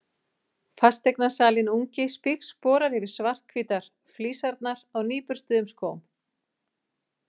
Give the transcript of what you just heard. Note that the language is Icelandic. Fasteignasalinn ungi spígsporar yfir svarthvítar flísarnar á nýburstuðum skóm.